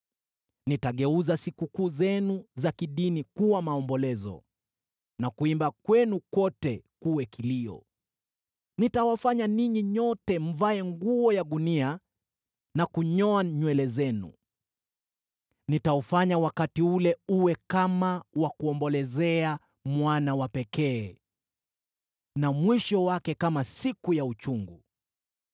Nitageuza sikukuu zenu za kidini kuwa maombolezo, na kuimba kwenu kote kuwe kilio. Nitawafanya ninyi nyote mvae nguo ya gunia na kunyoa nywele zenu. Nitaufanya wakati ule uwe kama wa kuombolezea mwana wa pekee, na mwisho wake kama siku ya uchungu.